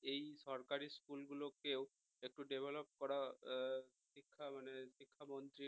এই সরকারি school গুলোকেও একটু develop করা শিক্ষা মানে শিক্ষা মন্ত্রীর